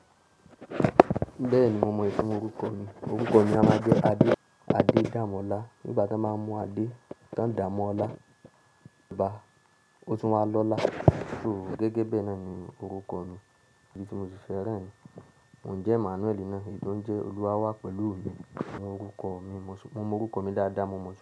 Bẹ́ẹ̀ni, mo mọ ìtumọ̀ orúkọ mi. Orúkọ mi a máa jẹ́ Ade. Adé Dàmọ́lá. Nígbà tí wọ́n máa ń mú Ade t'ọ́n dà á mọ́ ọlá bá, ó tún wáa lọ́lá. So gẹ́gẹ́ bẹ́ẹ̀ náà ni orúkọ mi, èyí tí mo sì fẹ́ rẹ́ rìn. Mo jẹ́ Emmanuel náà, èyí tó ń jẹ́ Olúwa wà pẹ̀lú mi. Ni orúkọ mi, mo mọ orúkọ mi dáadáa, mo mọ ètò.